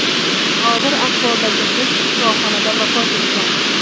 Og‘ir ahvoldagi qiz shifoxonada vafot etgan.